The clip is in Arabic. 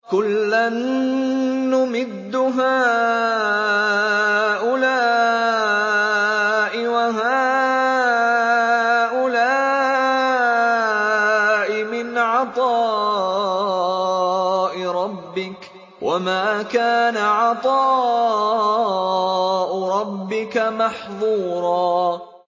كُلًّا نُّمِدُّ هَٰؤُلَاءِ وَهَٰؤُلَاءِ مِنْ عَطَاءِ رَبِّكَ ۚ وَمَا كَانَ عَطَاءُ رَبِّكَ مَحْظُورًا